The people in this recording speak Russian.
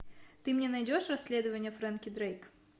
ты мне найдешь расследование фрэнки дрейк